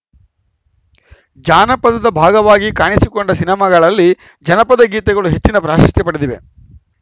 ಜಾನಪದದ ಭಾಗವಾಗಿ ಕಾಣಿಸಿಕೊಂಡ ಸಿನಿಮಾಗಳಲ್ಲಿ ಜನಪದ ಗೀತೆಗಳು ಹೆಚ್ಚಿನ ಪ್ರಾಶಸ್ತ್ಯ ಪಡೆದಿವೆ